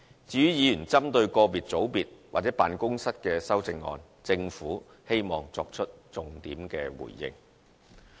至於議員針對個別組別或辦公室的修正案，政府希望作出重點回應。